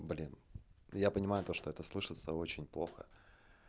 блин я понимаю то что это слышатся очень плохо